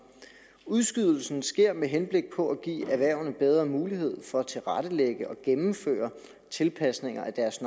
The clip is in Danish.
udskydelsen sker med henblik på at give erhvervene bedre mulighed for at tilrettelægge og gennemføre tilpasninger af deres